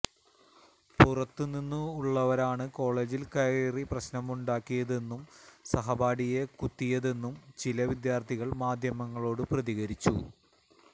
പുറത്തുനിന്നുള്ളവരാണ് കോളജിൽ കയറി പ്രശ്നമുണ്ടാക്കിയതെന്നും സഹപാഠിയെ കുത്തിയതെന്നും ചില വിദ്യാർഥികൾ മാധ്യമങ്ങളോട് പ്രതികരിച്ചു